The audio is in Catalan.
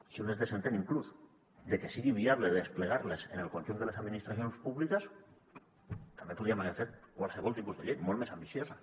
si un es desentén inclús de que sigui viable desplegar les en el conjunt de les administracions públiques també podríem haver fet qualsevol tipus de llei molt més ambiciosa